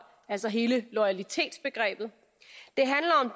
altså hele loyalitetsbegrebet